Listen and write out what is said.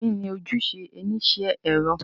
Kini ojuse onisẹ ẹrọ?